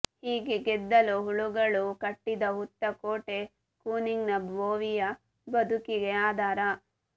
ಹೀಗೆ ಗೆದ್ದಲು ಹುಳುಗಳು ಕಟ್ಟಿದ ಹುತ್ತ ಕೋಟೆ ಕೂನಿಂಗ ಬೋವಿಯ ಬದುಕಿಗೆ ಆಧಾರ